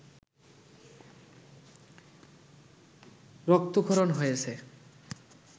রক্তক্ষরণ হয়েছে